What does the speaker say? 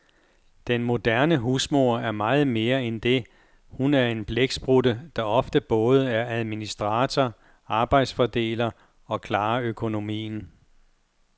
Den moderne husmor er meget mere end det, hun er en blæksprutte, der ofte både er administrator, arbejdsfordeler og klarer økonomien.